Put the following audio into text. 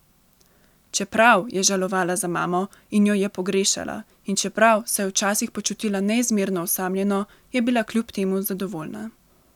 Čeprav je žalovala za mamo in jo je pogrešala in čeprav se je včasih počutila neizmerno osamljeno, je bila kljub temu zadovoljna.